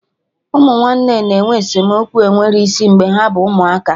Ụmụ nwanne na-enwe esemokwu enwero isi mgbe ha bụ ụmụaka